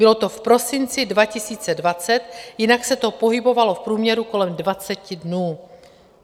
Bylo to v prosinci 2020, jinak se to pohybovalo v průměru kolem 20 dnů.